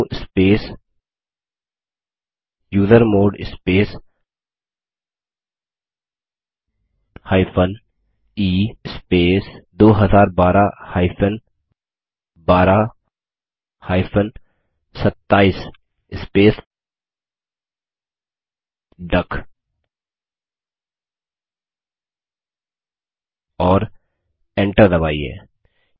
sudo space usermod space e space 2012 12 27 space duck और enter दबाइए